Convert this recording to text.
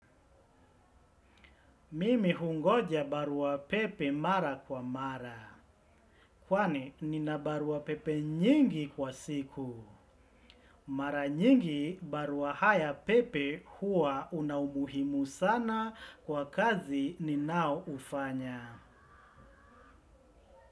Mimi hungoja barua pepe mara kwa mara. Kwani, nina barua pepe nyingi kwa siku. Mara nyingi barua haya pepe huwa una umuhimu sana kwa kazi ninao ufanya.